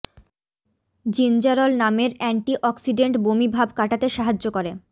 gingerol নামের antioxidant বমি ভাব কাটাতে সাহায্য করে